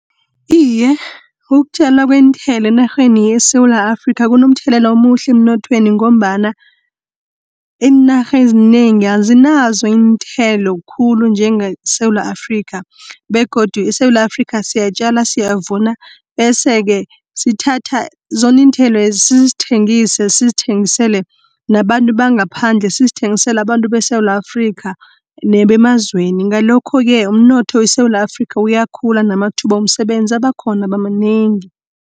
Iye, ukutjalwa kweenthelo enarheni yeSewula Afrika kunomthelela omuhle emnothweni, ngombana iinarhe ezinengi azinazo iinthelo khulu njenge Sewula Afrikha, begodu eSewula Afrikha siyatjala siyavuna, bese-ke sithatha zoniinthelwezi sizithengise, sizithengisele nabantu bangaphandle. Sizithengisele abantu beSewula Afrikha nebemazweni ngalokho-ke, umnotho weSewula Afrikha uyakhula namathuba womsebenzi abakhona manengi.